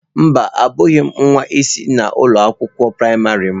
Mba, abụghị m nwa isi na ụlọ akwụkwọ praịmarị m.